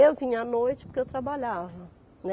Eu vinha à noite porque eu trabalhava, né.